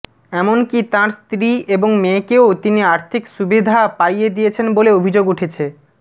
এমনকি তাঁর স্ত্রী এবং মেয়েকেও তিনি আর্থিক সুবিধা পাইয়ে দিয়েছেন বলে অভিযোগ উঠেছে